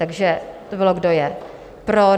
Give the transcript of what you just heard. Takže to bylo, kdo je pro.